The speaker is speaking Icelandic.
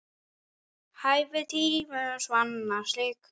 Hæfir tíðum svanna slík.